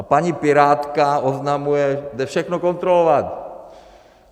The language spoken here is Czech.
A paní pirátka oznamuje, jde všechno kontrolovat!